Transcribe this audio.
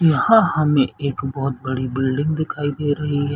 यहाँ हमें एक बहुत बड़ी बिल्डिंग दिखाई दे रही है।